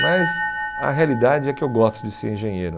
Mas a realidade é que eu gosto de ser engenheiro.